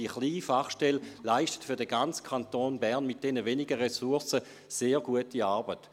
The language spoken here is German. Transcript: Diese kleine Fachstelle leistet für den ganzen Kanton Bern mit diesen wenigen Ressourcen sehr gute Arbeit.